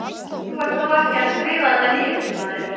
Þú ert þó ekki að skrifa þetta niður, maður!